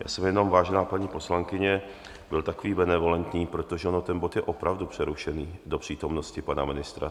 Já jsem jenom, vážená paní poslankyně, byl takový benevolentní, protože on ten bod je opravdu přerušený do přítomnosti pana ministra.